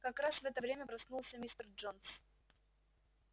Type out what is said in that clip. как раз в это время проснулся мистер джонс